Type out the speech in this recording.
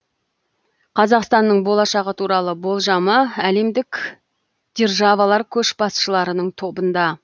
қазақстанның болашағы туралы болжамы әлемдік дер жавалар көшбасшыларының тобында